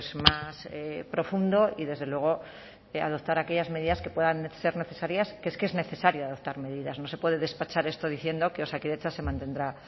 más profundo y desde luego adoptar aquellas medidas que puedan ser necesarias que es que es necesario adoptar medidas no se puede despachar esto diciendo que osakidetza se mantendrá